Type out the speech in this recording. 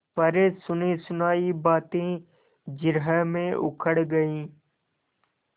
पर सुनीसुनायी बातें जिरह में उखड़ गयीं